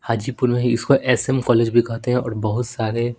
हाजीपुर में इसको S M college भी कहते हैं और बहुत सारे--